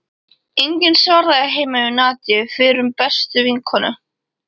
Enginn svaraði heima hjá Nadíu, fyrrum bestu vinkonu